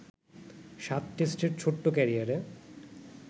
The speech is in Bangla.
সাত টেস্টের ছোট্ট ক্যারিয়ারে